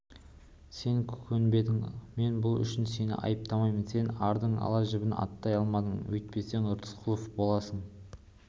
сен көнбедің мен бұл үшін сені айыптамаймын сен ардың ала жібін аттай алмадың өйтпесең рысқұлов боласың